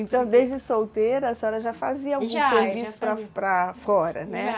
Então, desde solteira, a senhora já fazia, já, já, algum serviço para para fora, né?